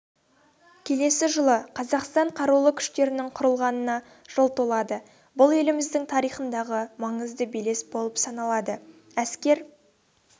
келесі жылы қазақстан қарулы күштерінің құрылғанына жыл толады бұл еліміздің тарихындағы маңызды белес болып саналады әскер